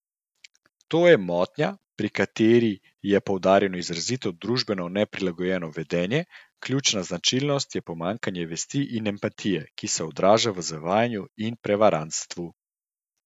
To je motnja, pri kateri je poudarjeno izrazito družbeno neprilagojeno vedenje, ključna značilnost je pomanjkanje vesti in empatije, ki se odraža v zavajanju in prevarantstvu.